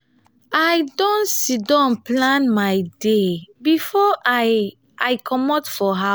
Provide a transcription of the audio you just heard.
i don sidon plan my day before i i comot for